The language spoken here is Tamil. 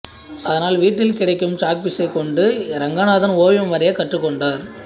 அதனால் வீட்டில் கிடைக்கும் சாக்பீஸைக் கொண்டு இரங்கநாதன் ஓவியம் வரையக் கற்றுக்கொண்டார்